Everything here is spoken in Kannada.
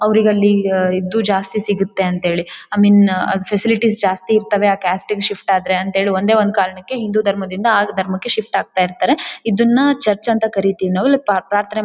ಅವ್ರಿಗಲ್ಲಿ ಇದ್ದು ಜಾಸ್ತಿ ಸಿಗುತ್ತೆ ಅಂತ ಹೇಳಿ ಐ ಮೀನ್ ಫ್ಯಾಸಿಲಿಟೀಸ್ ಜಾಸ್ತಿ ಇರ್ತವೆ ಆ ಕ್ಯಾಸ್ಟ್ ಗೆ ಶಿಫ್ಟ್ ಆದ್ರೆ ಅಂತೇಳಿ ಒಂದೇ ಒಂದು ಕಾರಣಕ್ಕೆ ಹಿಂದೂ ಧರ್ಮದಿಂದ ಆ ಧರ್ಮಕ್ಕೆ ಶಿಫ್ಟ್ ಆಗ್ತಾ ಇರ್ತಾರೆ. ಇದನ್ನ ಚರ್ಚ್ ಅಂತ ಕರೀತೀವಿ ನಾವು ಪ್ರಾರ್ಥನೆ--